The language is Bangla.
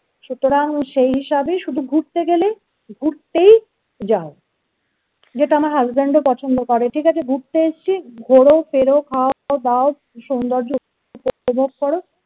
সুতরাং সেই হিসাবেই শুধু ঘুরতে গেলে ঘুরতেই যাও যেটা আমার husband ও পছন্দ করে ঠিক আছে? ঘুরতে এসছি ঘোরো ফেরো খাও দাও সৌন্দর্য উপভোগ করো